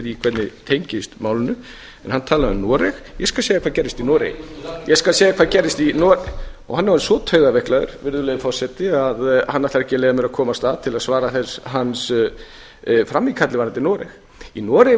hvernig tengist málinu en hann talaði um noreg ég skal segja hvað gerðist í noregi og hann er orðinn svo taugaveiklaður að hann ætlar ekki að leyfa mér að komast að til að svara hans frammíkalli varðandi noreg í noregi